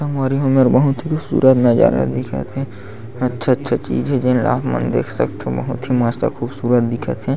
संगवारी हो एमेर बहुत ही खूबसूरत नज़ारा दिखत हे अच्छा-अच्छा चीज हे जेन ल आप मन देख सकथो बहुत ही मस्त खूबसूरत दिखत हे।